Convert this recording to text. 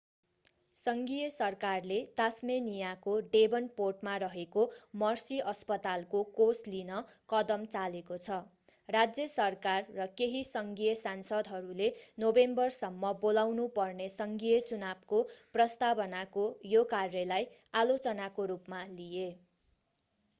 सङ्घीय सरकारले तास्मेनियाको डेभनपोर्टमा रहेको मर्सी अस्पतालको कोष लिन कदम चालेको छ राज्य सरकार र केही सङ्घीय सांसदहरूले नोभेम्बरसम्म बोलाउनु पर्ने सङ्घीय चुनावको प्रस्तावनाको यो कार्यलाई आलोचनाको रूपमा लिए